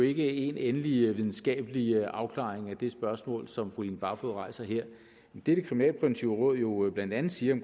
ikke én endelig videnskabelig afklaring af det spørgsmål som fru line barfod rejser her det det kriminalpræventive råd jo blandt andet siger